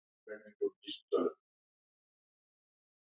Af hverju ertu svona þrjóskur, Kirsten?